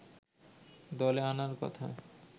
দলে আনার কথা